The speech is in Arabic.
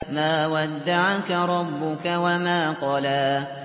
مَا وَدَّعَكَ رَبُّكَ وَمَا قَلَىٰ